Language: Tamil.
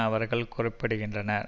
அவர்கள் குறிப்பிடுகின்றனர்